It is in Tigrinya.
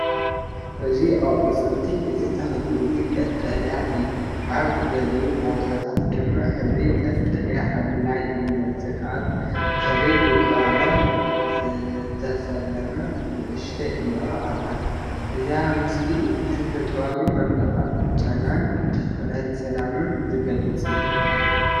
እዚ ኣቝጽልቲ እዚ ተኽሊ እዚ ቀጠልያ እዩ፣ ኣብ ገሊኡ ቦታታት ድማ ሕብሩ ቀጠልያን ሐምላይን ይመስል። ኣብ ድሕሪት ብቐለም ዝተሰለመት ንእሽቶ ዕምባባ ኣላ። እዚ ምስሊ እዚ ተፈጥሮኣዊ ዕምባባ፡ ጨናን ትኹረት ሰላምን ዝገልጽ እዩ።